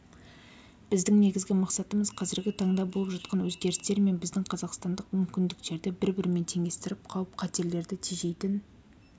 біздің негізгі мақсатымыз қазіргі таңда болып жатқан өзгерістер мен біздің қазақстандық мүмкіндіктерді бір-бірімен теңестіріп қауіп-қатерлерді тежейтін